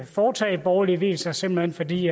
foretage borgerlige vielser simpelt hen fordi